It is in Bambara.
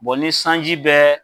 ni sanji bɛ